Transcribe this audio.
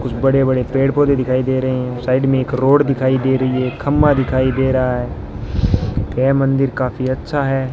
कुछ बड़े बड़े पेड़ पौधे दिखाई दे रहे हैं साइड में एक रोड दिखाई दे रही है खंभा दिखाई दे रहा है ये मंदिर काफी अच्छा है।